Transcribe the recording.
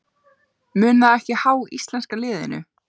Mun það ekki há íslenska liðinu?